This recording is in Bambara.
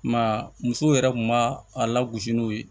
I m'a ye musow yɛrɛ kun b'a a lagosi n'o ye